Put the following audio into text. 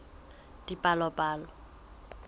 dipalopalo